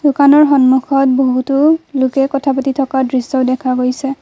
দোকানৰ সন্মুখত বহুতো লোকে কথা পাতি থকা দৃশ্য দেখা গৈছে।